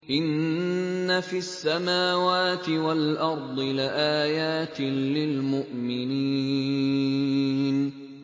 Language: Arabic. إِنَّ فِي السَّمَاوَاتِ وَالْأَرْضِ لَآيَاتٍ لِّلْمُؤْمِنِينَ